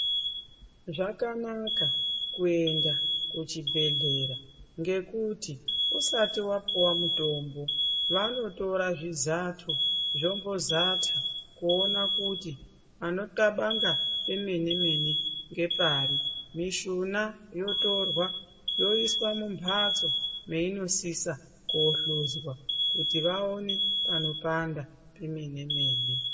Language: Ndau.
Zvakana kuenda kuchibhehlera ngekuti usati wapuwe mutombo vanotora zvizato, zvombozata kuona kuti panokabanga pemene-mene ngepari, mishuna yotorwa yoiswa mumhatso mwainosisa kohluzwa kuti vaone panopanda pemene-mene.